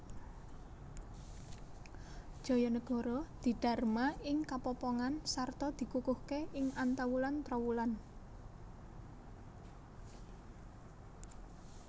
Jayanegara didharma ing Kapopongan sarta dikukuhké ing Antawulan Trowulan